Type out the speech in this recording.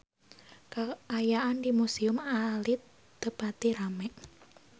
Kaayaan di Museum Alit teu pati rame